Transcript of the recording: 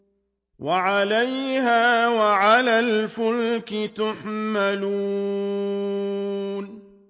وَعَلَيْهَا وَعَلَى الْفُلْكِ تُحْمَلُونَ